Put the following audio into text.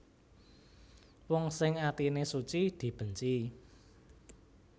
Wong sing atine suci dibenci